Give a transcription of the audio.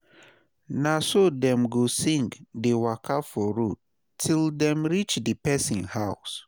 na so dem go sing dey waka for road til dem rich di pesin house